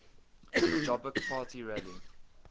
jobbik party rally